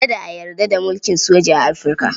Kada a yarda da mulkin soja a Afirka.